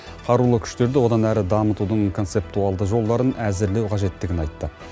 қарулы күштерді одан әрі дамытудың концептуалды жолдарын әзірлеу қажеттігін айтты